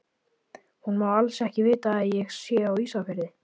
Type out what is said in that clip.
Hún má alls ekki vita að ég sé á Ísafirði!